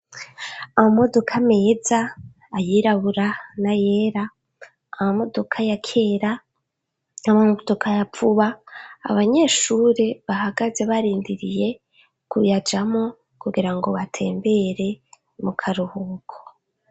Amamodoka meza ayera n'ayirabura, amamodoka ya kera n'ayavuba abanyeshure bahagaze barindiriye kuyajamwo kugirango batembere mu karuhuko.